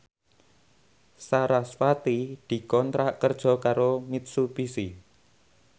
sarasvati dikontrak kerja karo Mitsubishi